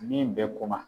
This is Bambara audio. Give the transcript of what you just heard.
Min bɛ ko ma